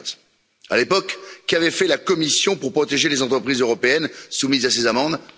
2015. À l'époque, qu'avait fait la Commission pour protéger les entreprises européennes soumises à ces amendes?